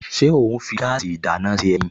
Ṣé ó ń fi gáàsì ìdáná ṣe ẹyin?